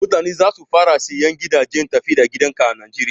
Mutane za su fara sayan gidajen tafi da gidan ka a najeriya.